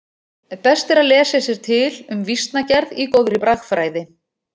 Best er að lesa sér til um vísnagerð í góðri bragfræði.